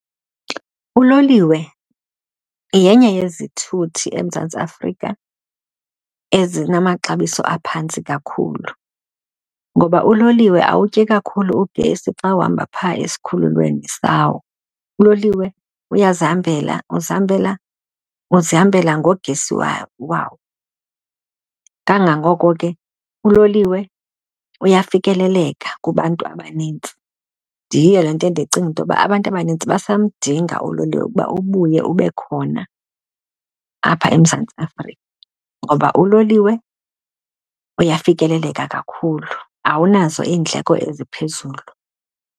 Uloliwe yenye yezithuthi eMzantsi Afrika ezinamaxabiso aphantsi kakhulu ngoba uloliwe awutyi kakhulu ugesi xa uhamba phaa esikhululweni sawo. Uloliwe uyazihambela, uzihambela uzihambela ngogesi wawo. Kangangoko ke uloliwe uyafikeleleka kubantu abanintsi. Ndiye loo nto ndicinga into yokuba abantu abanintsi basamdinga uloliwe ukuba ubuye ube khona apha eMzantsi Afrika ngoba uloliwe uyafikeleleka kakhulu, awunazo iindleko eziphezulu.